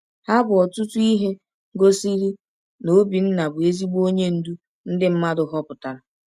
Ha bụ ọtụtụ ihe gosiri na Obinna bụ ezigbo onye ndu ndị mmadụ họpụtara.